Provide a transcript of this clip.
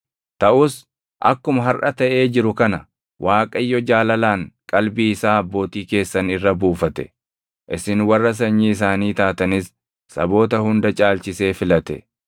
Taʼus akkuma harʼa taʼee jiru kana, Waaqayyo jaalalaan qalbii isaa abbootii keessan irra buufate; isin warra sanyii isaanii taatanis saboota hunda caalchisee filate.